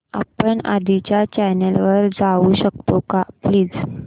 आपण आधीच्या चॅनल वर जाऊ शकतो का प्लीज